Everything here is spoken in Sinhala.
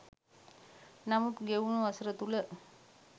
නමුත් ගෙවුන වසර තුල